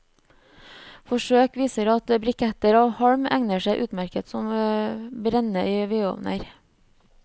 Forsøk viser at briketter av halm egner seg utmerket som brenne i vedovner.